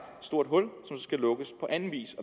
stort hul skal lukkes på anden vis